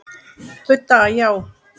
Budda: Já.